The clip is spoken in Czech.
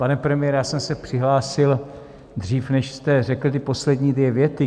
Pane premiére, já jsem se přihlásil dřív, než jste řekl ty poslední dvě věty.